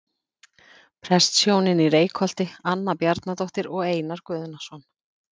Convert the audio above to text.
Prestshjónin í Reykholti- Anna Bjarnadóttir og Einar Guðnason.